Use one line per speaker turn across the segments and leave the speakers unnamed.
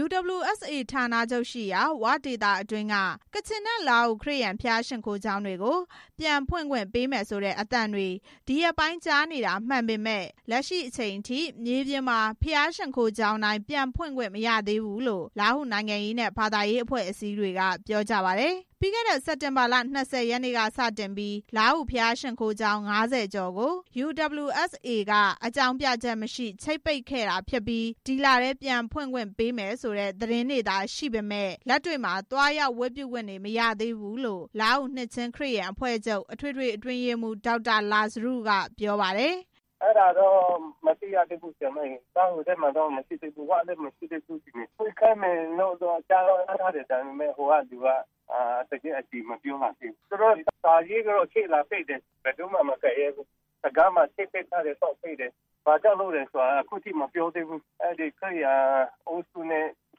UWSA ဌာနချုပ်ရှိရာ “ဝ” ဒေသအတွင်းက ကချင်နဲ့ လားဟူ ခရစ်ယာန်ဘုရားရှိခိုးကျောင်းတွေကို ပြန်ဖွင့်ခွင့်ပေး မယ်ဆိုတဲ့ အသံတွေ ဒီရက်ပိုင်း ကြားနေရတာမှန်ပေမယ့် လက်ရှိအချိန်အထိ မြေပြင်မှာ ဘုရားရှိခိုးကျောင်းတိုင်း ပြန်ဖွင့်ခွင့်မရသေးဘူးလို့ လားဟူနိုင်ငံရေးနဲ့ ဘာသာရေးအဖွဲ့ အစည်းတွေက ပြောကြ ပါတယ်။ ပြီးခဲ့တဲ့ စက်တင်ဘာလ ၂၀ ရက်နေ့က စတင်ပြီး လားဟူဘုရားရှိခိုးကျောင်း ၅၀ ကျော်ကို UWSA က အကြောင်းပြချက်မရှိ ချိတ်ပိတ်ခဲ့တာဖြစ်ပြီး အခုလထဲ ပြန်ဖွင့်ခွင့်ပေးမယ်ဆိုတဲ့ သတင်းသာရှိပြီး လက်တွေ့မှာ သွားရောက်ဝတ်ပြုခွင့် မရသေးဘူးလို့ လားဟူ နှစ်ခြင်းခရစ်ယာန်အဖွဲ့ချုပ် အထွေထွေအတွင်းရေးမှူး ဒေါက် တာလာဇရု ကပြောပါတယ်။
“အဲဒါတော့ မသိရသေးဘူး။ လားဟူထဲမှာမရှိဘူး၊ ဝ,ထဲမှာလည်း မရှိဘူး။ ဖွင့်ခိုင်းမယ်လို့တော့ ကြားတော့ ကြားထားတယ်။ ဒါပေမဲ့ ဟိုကလူကအတည်တော့ မပြုနိုင်သေးဘူး။ သူတို့စာရေးပြီး ချိတ်လာပိတ်ထားတယ်။ တံခါးသော့ပိတ်ထားတယ်။ ဘယ်သူမှမကိုင်ရဲဘူး။ ဘာကြောင့်လုပ်တယ်ဆိုတာ ခုထိမပြောသေးဘူး။ ခရစ်ယာန်အုပ်စုနဲ့ ခ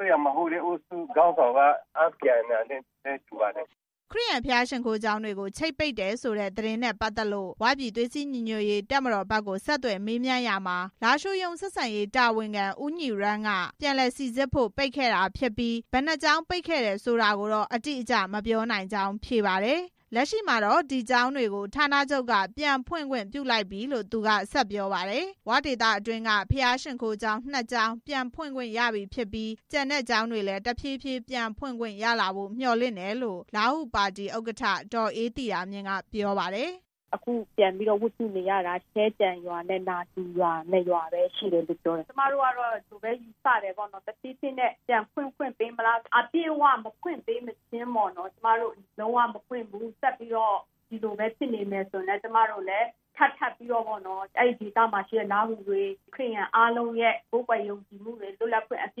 ရစ်ယာန်မဟုတ်တဲ့ အုပ်စုခေါင်းဆောင်က အားပြိုင်တာနဲ့ တူပါတယ်။”
ခရစ်ယာန်ဘုရားရှိခိုးကျောင်းတွေကို ချိတ်ပိတ်တယ်ဆိုတဲ့ သတင်းနဲ့ ပတ်သက်လို့ “ ဝ” ပြည်သွေးစည်းညီညွတ်ရေး တပ်မတော်ဘက်ကို ဆက်သွယ်မေးရာမှာ လားရှိုးရုံး ဆက်ဆံရေးတာဝန်ခံ ဦးညီရမ်းက ပြန်လည်စိစစ်ဖို့ ပိတ်ခဲ့ တာဖြစ်ပြီး ဘယ်နှစ်ကျောင်း ပိတ်ခဲ့တယ်ဆိုတာကို အတိအကျ မပြောနိုင်ကြောင်း ဖြေပါတယ်။ လက်ရှိမှာတော့ အဲဒီကျောင်းတွေကို ဌာနချုပ်က ပြန်ဖွင့်ခွင့်ပြုလိုက်ပြီလို့ သူက ဆက်ပြောပါတယ်။ “ဝ” ဒေသအတွင်းက ဘုရားကျောင်းနှစ်ကျောင်း ပြန်ဖွင့်ခွင့်ရပြီ ဖြစ်ပြီး ကျန်တဲ့ ကျောင်းတွေလည်း တဖြည်းဖြည်း ပြန်ဖွင့်ခွင့်ရလာဖို့ မျှော်လင့်တယ်လို့ လားဟူပါတီဥက္ကဋ္ဌ ဒေါ်အေးသီတာမြင့် ကပြောပါတယ်။ “ခုပြန်ပြီး ဝတ်ပြုနေရတာ ရှဲကျံရွာနဲ့ နာတူရွာ နှစ်ရွာတည်း ရ
ှိတယ်လို့ပြောတယ်။ ကျမတို့ကတော့ ဒီလိုပဲ ယူဆတယ်။ တဖြည်းဖြည်းနဲ့ ပြန်ဖွင့်ခွင့်ပေးမလား။ အပြည့်အဝ ပြန်ဖွင့်ခွင့်မပေးမချင်း၊ လုံးဝမဖွင့်ဘူး ဆက်ပြီးတော့ ဒီလိုပဲ ဖြစ်နေမယ်ဆိုရင် အဲ့ဒီဒေသက ခရစ်ယာန်အားလုံး လွတ်လပ်စွာကိုးကွယ်ခွင့်ရဖို့ ဆက်ပြီး လုပ်ဆောင်သွားမ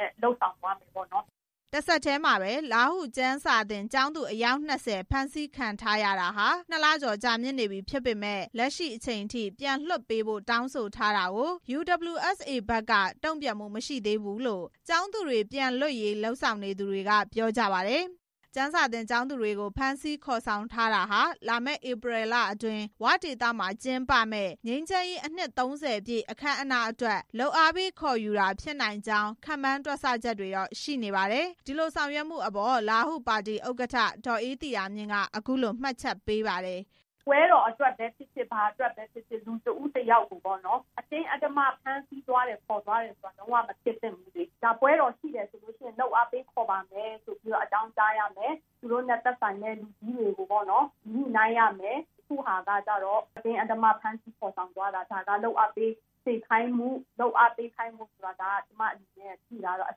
ယ်။”
တဆက်တည်းမှာပဲ လားဟူကျမ်းစာသင်ကျောင်းသူ အယောက် ၂၀ ဖမ်းဆီးခံထားရတာ နှစ်လကျော်ကြာမြင့်နေပြီ ဖြစ်ပေမယ့် လက်ရှိအချိန်အထိ ပြန်လွှတ်ပေးဖို့ တောင်းဆိုထားတာကို UWSA ဘက်က တုံ့ပြန်မှုမရှိသေးဘူးလို့ ကျောင်းသူတွေ ပြန်လွတ်ရေးလုပ်ဆောင်နေသူတွေက ပြောကြပါတယ်။ ကျမ်းစာသင်ကျောင်းသူတွေကို ဖမ်းဆီးခေါ်ဆောင်ထားတာဟာ လာမယ့် ဧပြီလအတွင်း “ ဝ” ဒေသမှာကျင်းပမယ့် ငြိမ်းချမ်းရေးနှစ် ၃၀ ပြည့် အခမ်းအနားအတွက် လုပ်အားပေးခေါ်ယူတာဖြစ်နိုင်ကြောင်း ခန့်မှန်းတွက်ဆ ချက်တွေတော့ရှိနေ ပါတယ်။ ဒီလိုဆောင်ရွက်မှုအပေါ် လားဟူပါတီဥက္ကဋ္ဌ ဒေါ်အေးသီတာမြင့်က အခုလို မှတ်ချက်ပေးပါတယ်။ “ပ
ွဲတော်အတွက်ပဲဖြစ်ဖြစ် ဘာအတွက်ပဲဖြစ်ဖြစ် လူတစ်ဦးတစ်ယောက်ကို
အတင်းအဓမ္မ ဖ
မ်းဆီးခေါ်ဆောင် သွားတာ လုံးဝ မဖြစ်သင့်ဘူး။ ပွဲတော်ရှိတယ်ဆိုရင် လုပ်အားပေးခေါ်ပါမယ်ဆိုပြီး အကြောင်းကြားရမယ်။ သူတို့ နဲ့ သက်ဆိုင်တဲ့လူကြီးတွေကို ညှိနှိုင်းရမယ်။ အခုဟာက အတင်းအဓမ္မဖမ်းဆီးခေါ်သွားတာ လုပ်အားပေးခေါ် သွားတယ်ဆိုတာ ကျမအထင်တော့ အ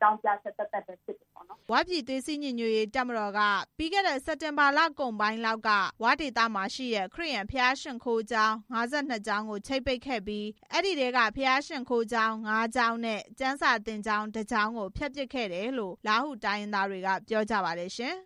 ကြောင်းပြချက်သက်သက်ပဲဖြစ်တယ်။”
၀ ပြည် သွေးစည်းညီညွတ်ရေးတပ်မတော်က ပြီးခဲ့တဲ့ စက်တင်ဘာလကုန်ပိုင်းလောက်က ၀ ဒေသမှာရှိတဲ့ ခရစ်ယာန် ဘုရားရှိခိုးကျောင်း ၅၂ ကျောင်းကို ချိတ်ပိတ်ခဲ့ပြီး ဘုရားရှိခိုးကျောင်း ၅ကျောင်းနဲ့ ကျမ်းစာကျောင်း ၁ ကျောင်းကို ဖျက်ပစ်ခဲ့တယ်လို့ လားဟူတိုင်းရင်းသားတွေက ပြောကြပါတယ်ရှင်။